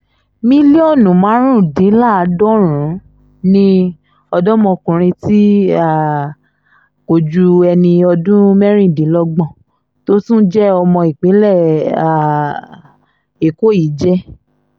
mílíọ̀nù márùndínláàádọ́rùn-ún ni ọ̀dọ́mọkùnrin tí um kò ju ẹni ọdún mẹ́rìndínlọ́gbọ̀n tó tún jẹ́ ọmọ ìpínlẹ̀ um èkó yìí jẹ́